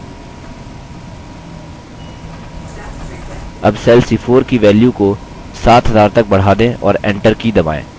अब cell c4 की value की 7000 तक बढ़ा दें और enter की दबाएँ